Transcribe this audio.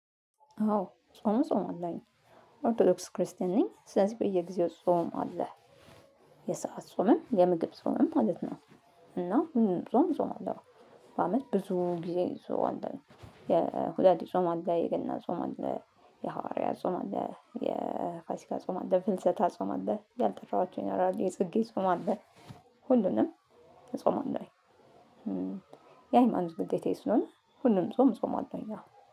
አዎ ጾም እጾማለሁኝ። ኦርቶዶክስ ክርስቲያን ነኝ ስለዚህ በየጊዜው ጾም አለ የሰዓት ጾምም የምግብ ጾምም ማለት ነው። እና ሁሉንም ጾም እጾማለሁ። በአመት ብዙ ጊዜ ጾም አለ። የሁዳዴ ጾም አለ የገና ጾም አለ የሐዋርያ ጾም አለ የፋሲካ ጾም አለ የፍልሰታ ጾም አለ ያልጠራኋቸውን ይኖራሉ የጽጌ ጾም አለ። ሁሉንም እጾማለኡኝ። የሃይማኖት ግዴታዬ ስለሆነ ሁሉንም ጾም እጾማለሁኝ አዎ